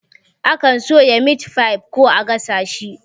Akan soya mitfai ko a gasa shi